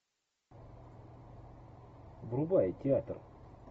врубай театр